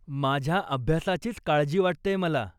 माझ्या अभ्यासाचीच काळजी वाटतेय मला.